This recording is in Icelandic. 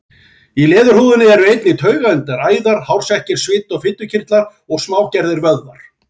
Í leðurhúðinni eru einnig taugaendar, æðar, hársekkir, svita- og fitukirtlar og smágerðir vöðvar.